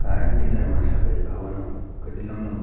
खाड़ी किधर मा सपेद भवन उख कित लम्ब लम्ब।